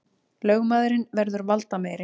Lögmaðurinn verður valdameiri